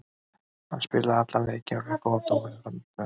Hann spilaði allan leikinn og fékk góða dóma fyrir frammistöðuna.